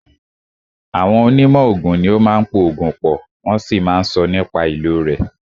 Àwọn onímọ̀ oògùn ní o máà ń po oògùn pọ̀, wọ́n sì máà ń sọ nípa ìlò rẹ̀.